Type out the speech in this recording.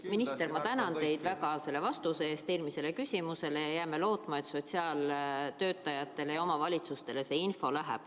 Minister, ma tänan teid väga eelmisele küsimusele antud vastuse eest ja jääme lootma, et see info läheb ka sotsiaaltöötajatele ja omavalitsustele.